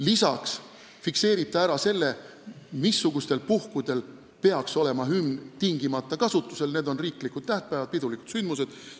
Lisaks fikseerib see ära, missugustel puhkudel peaks hümn tingimata kasutusel olema: need on riiklikud tähtpäevad ja teised pidulikud sündmused.